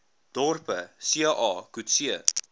dorpe ca coetzee